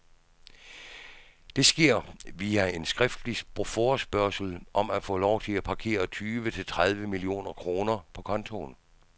Det sker via en skriftlig forespørgsel om at få lov til at parkere tyve til tredive millioner kroner på kontoen.